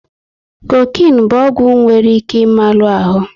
Kokinu bụ ọgwụ nwere ike ị malu ahụ